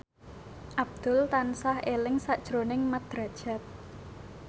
Abdul tansah eling sakjroning Mat Drajat